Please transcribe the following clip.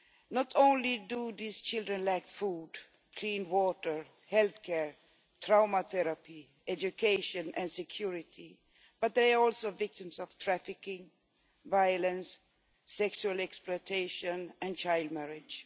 Not only do these children lack food, clean water, health care, trauma therapy, education and security, but they are also victims of trafficking, violence, sexual exploitation and child marriage.